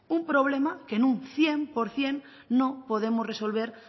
un problema que un cien por ciento no podemos resolver